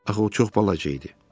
Axı o çox balaca idi.